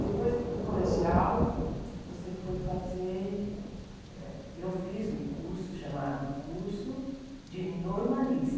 Depois do colegial, você foi fazer... Então, eu fiz um curso chamado curso de